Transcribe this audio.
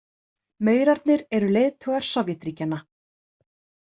Maurarnir eru leiðtogar Sovétríkjanna.